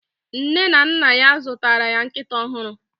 Nne na nna ya zụtara ya nkịta ọhụrụ